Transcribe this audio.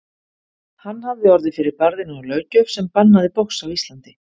Hann hafði orðið fyrir barðinu á löggjöf sem bannaði box á Íslandi.